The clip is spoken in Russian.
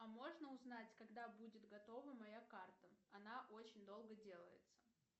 а можно узнать когда будет готова моя карта она очень долго делается